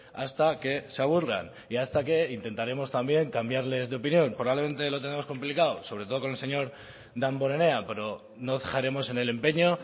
hasta que se aburran y hasta que intentaremos también cambiarles de opinión probablemente lo tenemos complicado sobre todo con el señor damborenea pero no cejaremos en el empeño